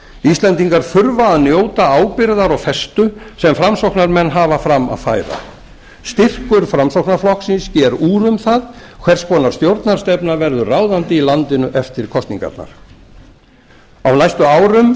íslendingar þurfa að njóta ábyrgðar og festu sem framsóknarmenn hafa fram að færa styrkur framsóknarflokksins sker úr um það hvers konar stjórnarstefna verður ráðandi í landinu eftir kosningarnar á næstu árum